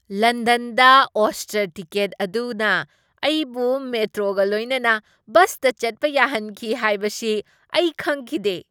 ꯂꯟꯗꯟꯗ ꯑꯣꯏꯁꯇꯔ ꯇꯤꯀꯦꯠ ꯑꯗꯨꯅ ꯑꯩꯕꯨ ꯃꯦꯇ꯭ꯔꯣꯒ ꯂꯣꯏꯅꯅ ꯕꯁꯇ ꯆꯠꯄ ꯌꯥꯍꯟꯈꯤ ꯍꯥꯏꯕꯁꯤ ꯑꯩ ꯈꯪꯈꯤꯗꯦ꯫